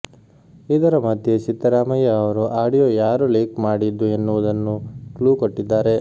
ಇದರ ಮಧ್ಯೆ ಸಿದ್ದರಾಮಯ್ಯ ಅವರು ಆಡಿಯೋ ಯಾರು ಲೀಕ್ ಮಾಡಿದ್ದು ಎನ್ನುವುದನ್ನು ಕ್ಲೂ ಕೊಟ್ಟಿದ್ದಾರೆ